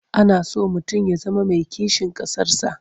Ana so mutum ya zama mai kishin ƙasarsa.